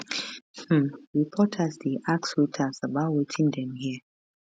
um reporters dey ask waiters about wetin dem hear